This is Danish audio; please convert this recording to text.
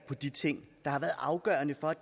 på tænk